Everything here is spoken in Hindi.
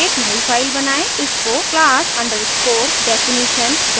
इसको class_definitionrb नाम दें